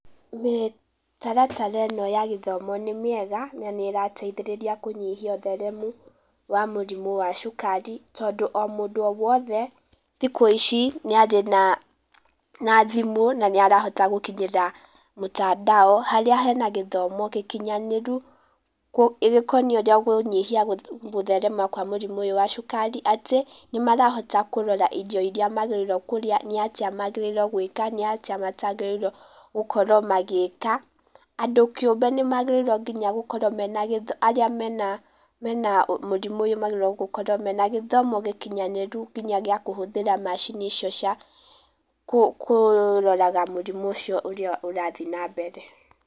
Mĩtaratara ĩno ya gĩthomo nĩ mĩega, na nĩ ĩrateithĩrĩria kũnyihia ũtheremu wa mũrimũ wa cukari tondũ o mũndũ o wothe thikũ ici nĩ arĩ na thimũ, na nĩ arahota gũkinyĩra mũtandao, harĩa hena gĩthomo gĩkinyanĩru, gĩkoniĩ kũnyihia gũtherema kwa mũrimũ ũyũ wa cukari, atĩ nĩmarahota kũrora irio iria magĩrĩirwo kũrĩa, nĩatĩa magĩrĩirwo gwĩka, nĩ atĩa matagĩrĩirwo gũkorwo magĩka, andũ kĩũmbe nĩ magĩrĩirwo nginya gũkorwo mena gĩtho, arĩa mena mũrimũ ũyũ magĩrĩirwo gũkorwo mena gĩthomo gĩkinyanĩru nginya gĩa kũhũthĩra macini icio cia kũroraga mũrimũ ũcio ũrathiĩ na mbere.